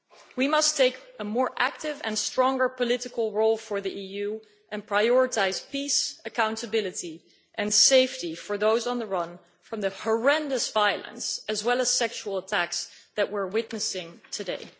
We must take a more active and stronger political role for the EU and prioritise peace, accountability and safety for those on the run from the horrendous violence and sexual attacks that we are witnessing today.